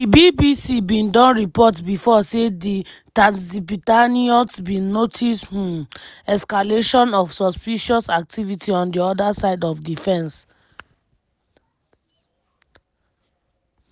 di bbc bin don report bifor say di tatzpitaniyot bin notice um escalation of suspicious activity on di oda side of di fence.